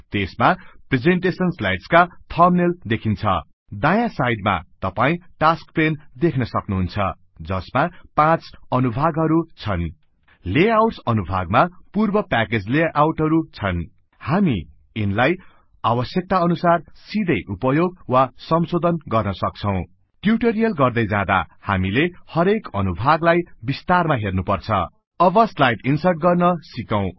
त्येसमा presentation स्लैड्सका thumbnail देखिन्छ दायाँ साईडमा तपाईं टास्क पेन देख्नसक्नुहुन्छ जसमा 5 अनुभागहरु छन् लेआउटस अनुभागमा पूर्व प्याकेज लेआउटहरु छन् हामी यिनलाई आवस्यक्ता अनुसार सिधै उपयोग वा संशोधन गर्न सक्छौं ट्युटोरिअल गर्दै जाँदा हामीले हरेक अनुभागलाइ विस्तारमा हेर्नुपर्छ अब स्लाइड इन्सर्ट गर्न सिकौं